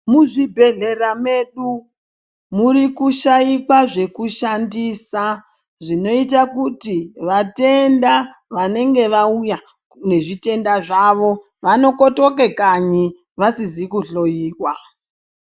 Muzvibhedhlera medu murikushaikwa zvekushandisa zvinoita kuti vatenda vanenge vauya nezviyenda zvavo vanokotoka kanyi vasizi kuhloiwa.